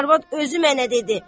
Arvad özü mənə dedi.